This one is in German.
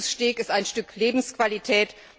Ein gutes Steak ist ein Stück Lebensqualität.